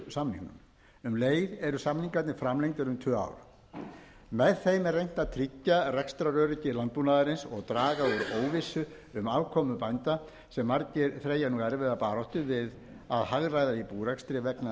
búvörusamningum um leið eru samningarnir framlengdir um tvö ár með þeim er reynt að tryggja rekstraröryggi landbúnaðarins og draga úr óvissu um afkomu bænda sem margir þreyja nú erfiða baráttu við að hagræða í búrekstri vegna